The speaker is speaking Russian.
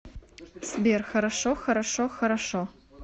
сбер хорошо хорошо хорошо